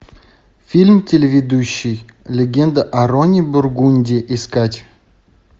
фильм телеведущий легенда о роне бургунди искать